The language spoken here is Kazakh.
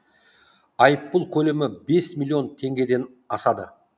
айыппұл көлемі бес миллион теңгеден асады